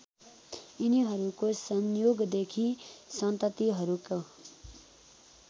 यिनीहरूको संयोगदेखि सन्ततिहरूको